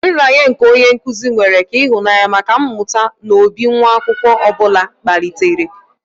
Nraranye nke onye nkuzi mere ka ịhụnanya maka mmụta n'obi nwa akwụkwọ ọ bụla kpalitere.